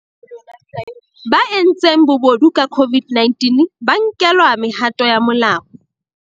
Ba entseng bobodu ka COVID-19 ba nkelwa mehato ya molao